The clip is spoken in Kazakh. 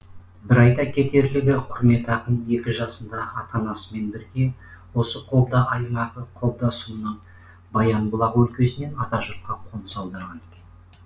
бір айта кетерлігі құрмет ақын екі жасында ата анасымен бірге осы қобда аймағы қобда сұмыны баянбұлақ өлкесінен атажұртқа қоныс аударған екен